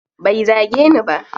Bai zage ni ba.